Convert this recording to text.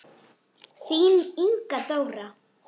Þín Inga Dóra.